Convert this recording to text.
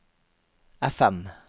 FM